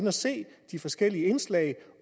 at se de forskellige indslag